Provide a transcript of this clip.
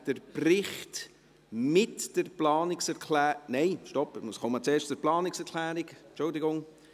Wer den Bericht mit der Planungserklärung … Nein, stopp: Ich komme zuerst zur Planungserklärung, Entschuldigung.